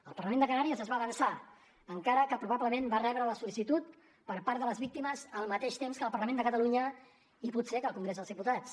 el parlament de canàries es va avançar encara que probablement va rebre la sol·licitud per part de les víctimes al mateix temps que el parlament de catalunya i potser que el congrés dels diputats